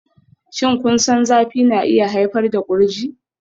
Shin kun san zafi na iya haifar da kurji?